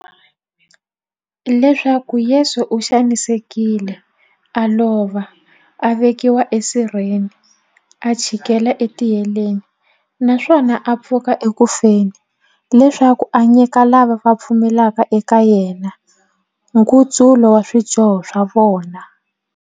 Leswaku Yesu u xanisekile, a lova, a vekiwa e sirheni, a chikela e tiheleni, naswona a pfuka eku feni, leswaku a nyika lava va pfumelaka eka yena, nkutsulo wa swidyoho swa vona.